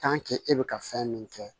e bɛ ka fɛn min kɛ